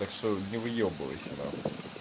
так что не выёбывайся на хуй